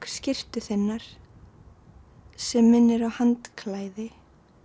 skyrtu þinnar sem minnir á handklæði